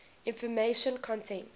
information content